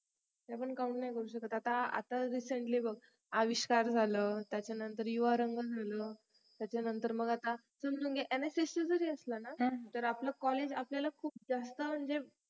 ते आपण count नाही करू शकत आता आताच recently बघ अविष्कार झालं त्याच्या नंतर युवारंग झालं त्याच्या नंतर मग आता समजून घे NSS जरी असला ना तरी आपलं college आपल्याला म्हणजे